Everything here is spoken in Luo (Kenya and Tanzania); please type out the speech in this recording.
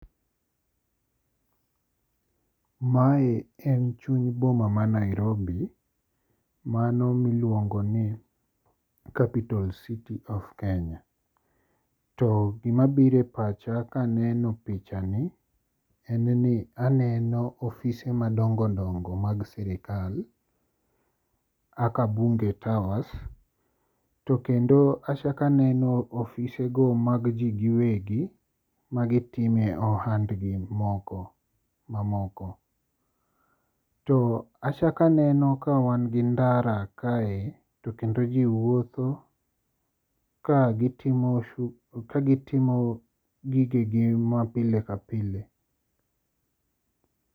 Mae en chuny boma ma Nairobi mano miluongo ni capital city of Kenya. To gima biro e pacha ka aneno picha ni en ni aneno ofise madongo dongo mag sirkal. Kaka bunge towers to kendo achako aneno ofisego mag ji giwegi magitime ohandgi mamoko. To achako aneno ka wan gi ndara kae to kendo ji wuotho ka gitimo ka gitimo gigegi mapile ka pile.